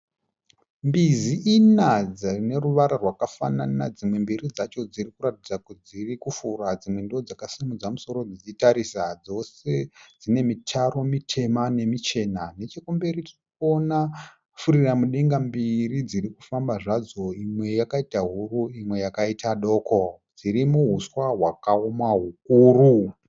Mbizi ina dzineruvara rwakafanana, dzimwe mbiri dzacho dzirikuratidza kuti dzirikufura dzimwe ndoodzakasimudza musoro dzichitarisa. Dzose dzinemitaro mitema nemichena. Nechekumberi tirikuona furiramudenga mbiri dzirikufamba zvadzo imwe yakaita huru imwe yakaita doko, dziri muhuswa hukuru.